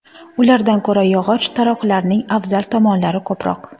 Ulardan ko‘ra yog‘och taroqlarning afzal tomonlari ko‘proq.